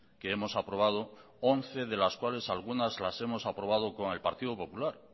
que hemos aprobado once de las cuales algunas las hemos aprobado con el partido popular